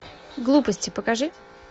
глупости покажи